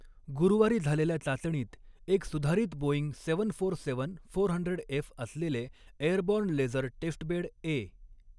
गुरुवारी झालेल्या चाचणीत एक सुधारित Boeing seven four seven four hundred F असलेले एअरबॉर्न लेझर टेस्टबेड ए.